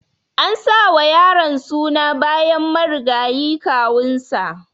An sa wa yaron suna bayan marigayi kawun sa.